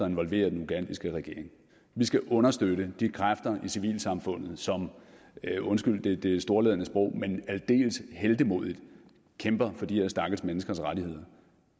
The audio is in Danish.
involverer den ugandiske regering vi skal understøtte de kræfter i civilsamfundet som undskyld det storladne sprog aldeles heltemodigt kæmper for de her stakkels menneskers rettigheder